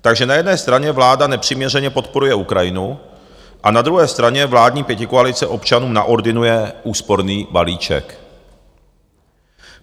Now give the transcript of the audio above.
Takže na jedné straně vláda nepřiměřeně podporuje Ukrajinu a na druhé straně vládní pětikoalice občanům naordinuje úsporný balíček.